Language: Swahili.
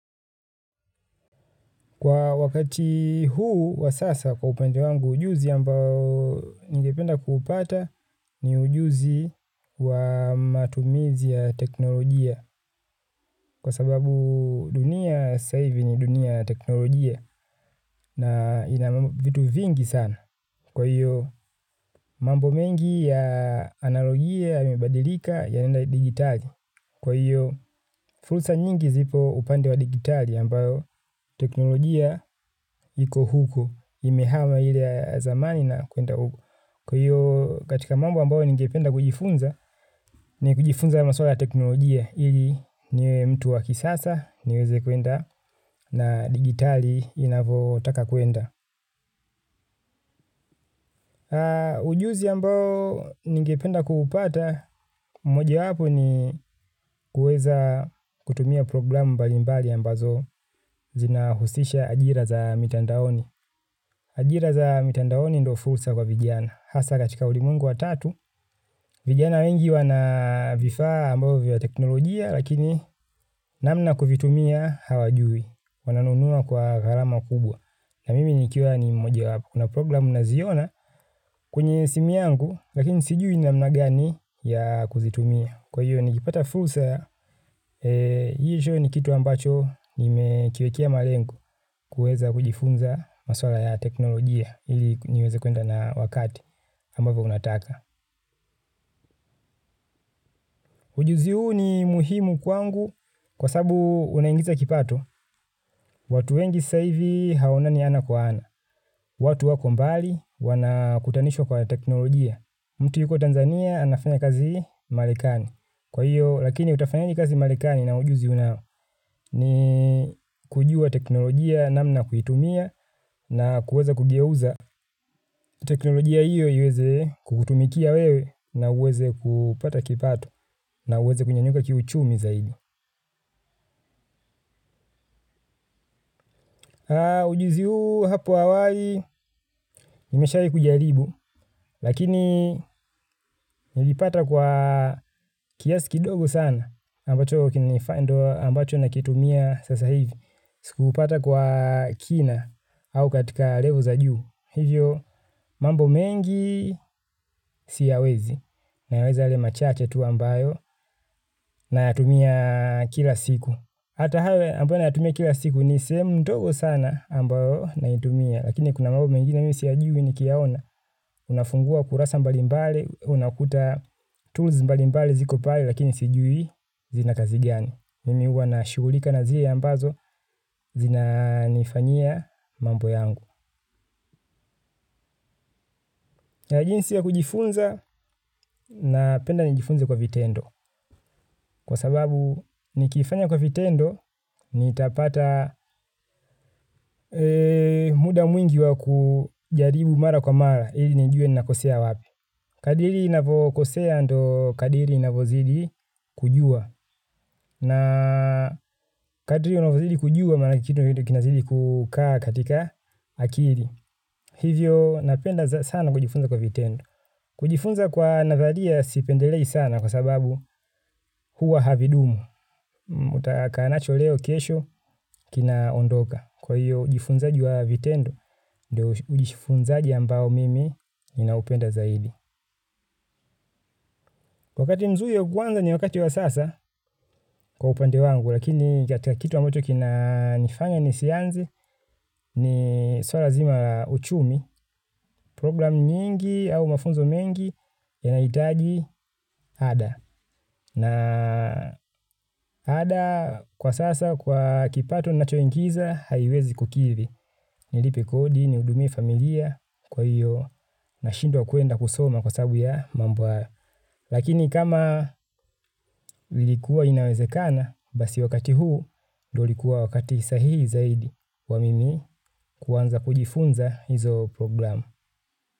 Kwa wakati huu wa sasa kwa upende wangu ujuzi ambao nikependa kupata ni ujuzi wa matumizi ya teknolojia kwa sababu dunia saivi ni dunia teknolojia na ina mambo vitu vingi sana. Kwa hiyo mambo mengi ya analogie yamebadilika yanenda digitali. Kwa hiyo furusa nyingi zipo upande wa digitali ambayo teknolojia yiko huko imehama ile ya zamani na kuenda huko. Kwa hiyo katika mambo ambayo ningependa kujifunza ni kujifunza maswala ya teknolojia ili niwe mtu wakisasa niweze kuenda na digitali inavotaka kuenda. Ujuzi ambao nikependa kuhupata. Mmoja wapo ni kueza kutumia programu mbalimbali ambazo zina husisha ajira za mitandaoni. Ajira za mitandaoni ndo fulsa kwa vijiana hasa katika ulimuengu wa tatu. Vijiana wengi wanavifaa ambao vya teknolojia. Lakini namna kufitumia hawajui. Wananunua kwa harama kubwa na mimi nikia ni mmoja wapo. Kuna programu naziona kwenye simu yangu, lakini sijui namna gani ya kuzitumia. Kwa hiyo, nikipata fulsa, hicho ni kitu ambacho nimekiwekea malengo kuweza kujifunza maswala ya teknolojia ili niweze kuenda na wakati ambapo unataka. Ujuzi huu ni muhimu kwangu kwa sabu unaingiza kipato, watu wengi saivi haona ni ana kwa ana. Watu wako mbali wana kutanisho kwa teknolojia. Mtu yuko Tanzania anafanya kazi malekani. Kwa hiyo lakini utafanyaje kazi malekani na ujuzi unao ni kujua teknolojia namna kuhitumia na kuweza kugeuza. Teknolojia hiyo yuweze kukutumikia wewe na uweze kupata kipato na uweze kunyanyuka kiuchumi zaidi. Ujuzi huu hapo hawai, nimesha hii kujaribu, lakini nilipata kwa kiasi kidogo sana, ambacho kina nifando ambacho nakitumia sasa hivi, sikuupata kwa kina au katika level za juu, hivyo mambo mengi siyawezi, nayaweza yale machache tu ambayo nayatumia kila siku. Ata hawe ambao nayatumia kila siku ni semu mtogo sana ambayo naitumia. Lakini kuna mabo mengina mimi siyajui nikiaona. Unafungua kurasa mbali mbali, unakuta tools mbali mbali zikopale lakini sijui zina kazi gani. Mimi uwana shugulika na zia ambazo zina nifanyia mambo yangu. Ya jinsi ya kujifunza na penda nijifunze kwa vitendo. Kwa sababu nikifanya kwa vitendo, nitapata muda mwingi wa kujaribu mara kwa mara, hili nijue nakosea wapi. Kadiri navokosea ndo kadiri navozidi kujua. Na kadiri navozidi kujua, manakitu kinazidi kukaa katika akiri. Hivyo napenda sana kujifunza kwa vitendo. Kujifunza kwa nathalia sipendelei sana kwa sababu huwa havidumu. Mutaka nacho leo kesho kina ondoka. Kwa hiyo ujifunzaji wa vitendo. Ujifunzaji ambao mimi ninaupenda zaidi wakati mzuyu kwanza ni wakati wa sasa. Kwa upande wangu lakini katika kitu ambacho kina nifanya ni sianze ni suara zima uchumi. Program nyingi au mafunzo mengi yanaitaji ada na ada kwa sasa kwa kipato ninacho ingiza. Haiwezi kukili nilipe kodi ni hudumie familia kwa hiyo na shindwa kwenda kusoma kwa sababu ya mambo ya. Lakini kama lilikuwa inawezekana, basi wakati huu ndo ulikuwa wakati sahihi zaidi wa mimi kuanza kujifunza hizo program.